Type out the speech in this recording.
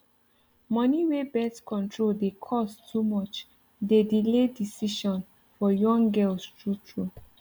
money wey birth control dey cost too much dey delay decision for young girls true true